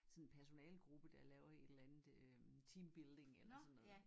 Sådan en personalegruppe der laver et eller andet øh teambuilding eller sådan noget